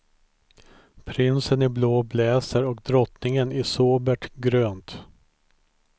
Prinsen i blå blazer och drottningen i sobert grönt.